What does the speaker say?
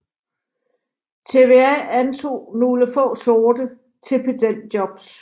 TVA antog nogle få sorte til pedeljobs